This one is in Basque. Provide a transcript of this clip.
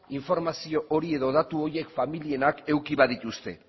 informazio hori edo datu horiek familienak eduki badituzte